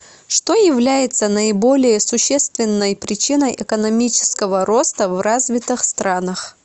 что является наиболее существенной причиной экономического роста в развитых странах